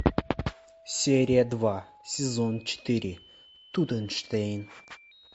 серия два сезон четыре тутенштейн